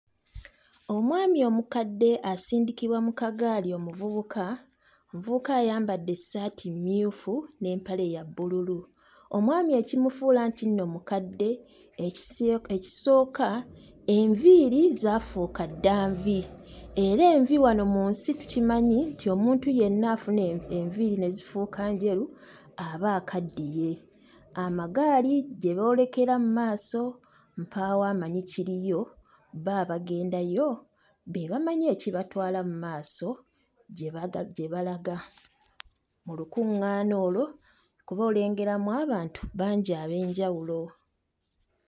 Omwami omukadde asindikibwa mu kagaali omuvubuka, omuvubuka ayambadde essaati mmyufu n'empale ya bbululu. Omwami ekimufuula nti nno mukadde ekiso... ekisooka enviiri zaafuuka dda nvi era envi wano mu nsi tukimanyi nti omuntu yenna afuna enviiri ne zifuuka njeru aba akaddiye, amagaali gye boolekera mu maaso mpaawo amanyi kiriyo, bo abagendayo be bamanyi ekibatwala mu maaso gye baga... gye balaga mu lukuŋŋaana olwo kuba olengeramu abantu bangi ab'enjawulo.